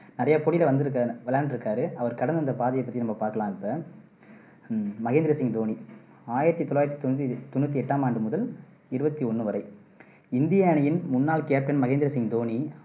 நிறைய போட்டியில வந்துருக்காரு விளையாண்டு இருக்காரு அவரு கடந்து வந்த பாதையை பத்தி பாக்கலாம் இப்போ மகேந்திர சிங் தோனி ஆயிரத்தி தொள்ளாயிரத்தி தொன் தொண்ணூத்தி எட்டாம் ஆண்டு முதல் இருவத்தி ஒண்ணு வரை இந்திய அணியின் முன்னாள் captain மகேந்திர சிங் தோனி